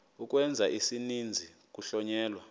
ukwenza isininzi kuhlonyelwa